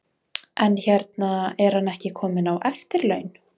En hérna, er hann ekki kominn á eftirlaun?